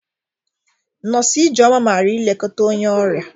Nọs Ijeoma mara ilekọta onye ọrịa.